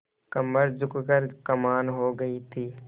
कमर झुक कर कमान हो गयी थी